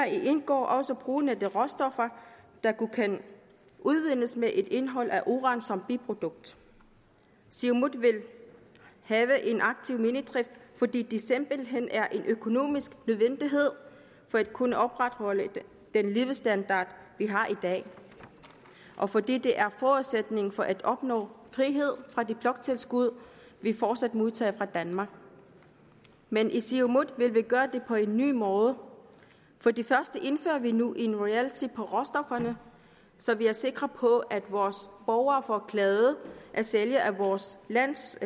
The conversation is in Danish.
indgår også brugen af de råstoffer der kun kan udvindes med et indhold af uran som biprodukt siumut vil have en aktiv minedrift fordi det simpelthen er en økonomisk nødvendighed for at kunne opretholde den levestandard vi har i dag og fordi det er forudsætningen for at opnå frihed fra det bloktilskud vi fortsat modtager fra danmark men i siumut vil vi gøre det på en ny måde for det første indfører vi nu en royalty på råstofferne så vi er sikre på at vores borgere får glæde af salget af vores lands